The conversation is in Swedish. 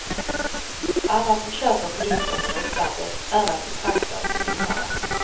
Alla som köper produkter från utlandet är att betrakta som vinnare.